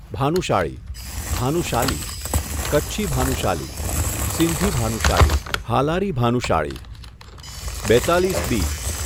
ભાનુશાળી, ભાનુશાલી, કચ્છી ભાનુશાલી, સિંધી ભાનુશાલી, હાલારી ભાનુશાળી બેત્તાલીસ બી